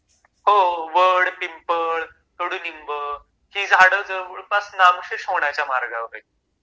हो वड, पिंपळ, कडूलिंब...ही झाड जवळपास नामशेष होण्याच्या मार्गावर आहेत